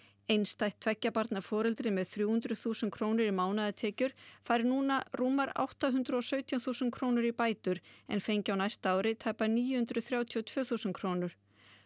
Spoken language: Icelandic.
einstætt tveggja barna foreldri með þrjú hundruð þúsund krónur í mánaðartekjur fær núna rúmar átta hundruð og sautján þúsund krónur í bætur en fengi á næsta ári tæpar níu hundruð þrjátíu og tvö þúsund krónur